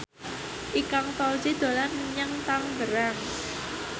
Ikang Fawzi dolan menyang Tangerang